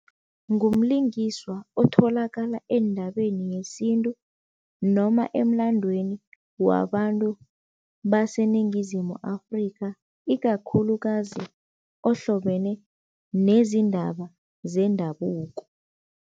Ngumlingiswa otholakala eendabeni yesintu noma emlandweni wabantu baseNingizimu Afrikha, ikakhulukazi ohlobene nezindaba zendabuko.